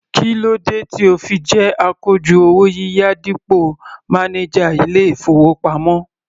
Kí ló dé tí o fi jẹ́ akojú owó yíyá dípò mánájà ilé-ìfowópamọ́?